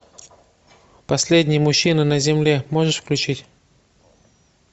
последний мужчина на земле можешь включить